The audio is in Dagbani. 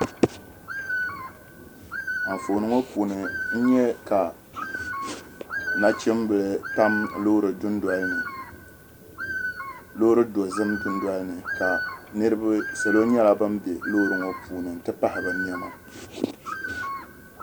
Anfooni ŋɔ puuni n nya ka nachimbila tam loori dozim dunoli ni ka salo nyɛla bam be loori ŋɔ puuni nti pahi bɛ nɛma.